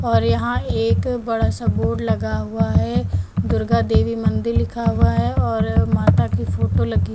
और यहां एक बड़ा सा बोर्ड लगा हुआ है दुर्गा देवी मंदिर लिखा हुआ है और माता की फोटो लगी--